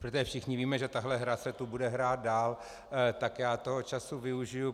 Protože všichni víme, že tahle hra se tu bude hrát dál, tak já toho času využiji.